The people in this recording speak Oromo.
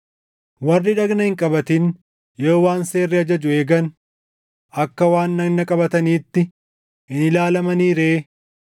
Warri dhagna hin qabatin yoo waan seerri ajaju eegan, akka waan dhagna qabataniitti hin ilaalamanii ree?